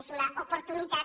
és una oportunitat